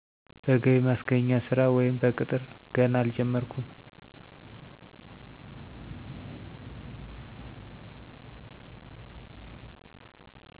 በገቢ ማስገኛ ስራ ወይም በቅጥር ገና አልጀመርኩም